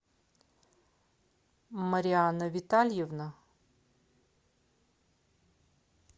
марианна витальевна